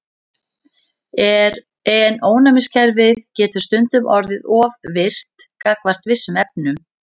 En ónæmiskerfið getur stundum orðið of virkt gagnvart vissum efnum.